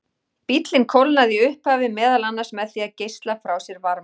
Bíllinn kólnaði í upphafi meðal annars með því að geisla frá sér varma.